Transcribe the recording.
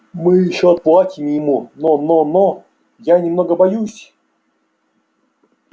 мы ещё отплатим ему но но я немного боюсь